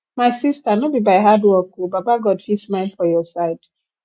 my sista no be by hardwork o baba god fit smile for your side